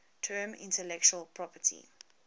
term intellectual property